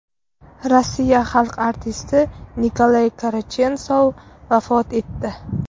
Rossiya xalq artisti Nikolay Karachensov vafot etdi.